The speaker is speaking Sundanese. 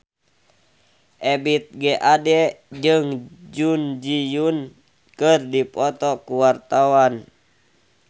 Ebith G. Ade jeung Jun Ji Hyun keur dipoto ku wartawan